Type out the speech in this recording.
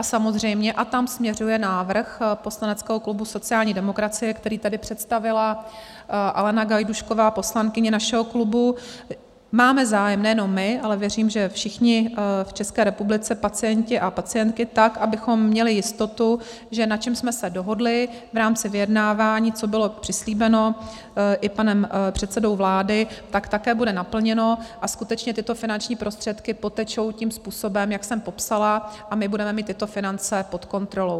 A samozřejmě, a tam směřuje návrh poslaneckého klubu sociální demokracie, který tady představila Alena Gajdůšková, poslankyně našeho klubu, máme zájem, nejenom my, ale věřím, že všichni v České republice, pacienti a pacientky, tak, abychom měli jistotu, že na čem jsme se dohodli v rámci vyjednávání, co bylo přislíbeno i panem předsedou vlády, tak také bude naplněno a skutečně tyto finanční prostředky potečou tím způsobem, jak jsem popsala, a my budeme mít tyto finance pod kontrolou.